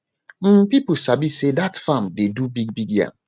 um people sabi say dat farm dey do bigbig yam